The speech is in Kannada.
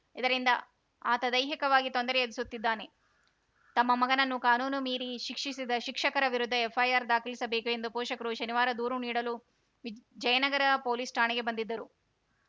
ಇದರಿಂದ ಆತ ದೈಹಿಕವಾಗಿ ತೊಂದರೆ ಎದುರಿಸುತ್ತಿದ್ದಾನೆ ತಮ್ಮ ಮಗನನ್ನು ಕಾನೂನು ಮೀರಿ ಶಿಕ್ಷಿಸಿದ ಶಿಕ್ಷಕರ ವಿರುದ್ಧ ಎಫ್‌ಐಆರ್‌ ದಾಖಲಿಸಬೇಕು ಎಂದು ಪೋಷಕರು ಶನಿವಾರ ದೂರು ನೀಡಲು ವಿಜ್ ಜಯನಗರ ಪೊಲೀಸ್‌ ಠಾಣೆಗೆ ಬಂದಿದ್ದರು